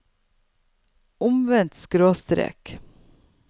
omvendt skråstrek